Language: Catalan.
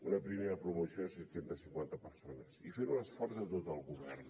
una primera promoció de set cents i cinquanta persones i fent un esforç de tot el govern